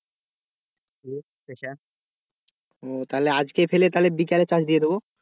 ও তাহলে আজ ফেলে তাহলে বিকেলে চাষ দিয়ে দেবো।